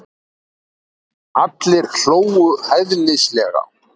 Allir hlógu hæðnislega.